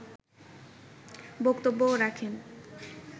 বক্তব্যও রাখেন